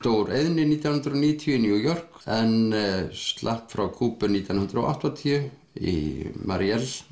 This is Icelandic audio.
úr eyðni nítján hundruð og níutíu í New York en slapp frá Kúbu nítján hundruð og áttatíu í